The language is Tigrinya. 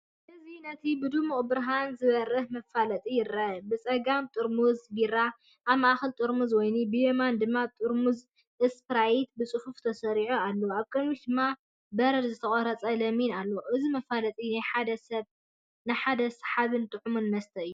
እዚ ነቲ ብድሙቕ ብርሃን ዝበርህ መፋለጢ ይረአ፤ ብጸጋም ጥርሙዝ ቢራ፡ ኣብ ማእከል ጥርሙዝ ወይኒ፡ ብየማን ድማ ጥርሙዝ ስፕራይት ብጽፉፍ ተሰሪዖም ኣለዉ። ኣብ ቅድሚት ድማ በረድን ዝተቖርጸ ለሚንን ኣሎ። እዚ መፋለጢ ናይ ሓደ ሰሓብን ጥዑምን መስተ እዩ።